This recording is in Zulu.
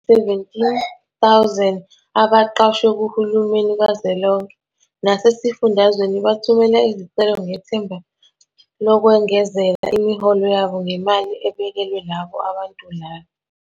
17 000 abaqashwe kuhulumeni kazwelonke nasezifundazweni bathumela izicelo ngethemba lokwengezela imiholo yabo ngemali ebekelwe labo abantulayo.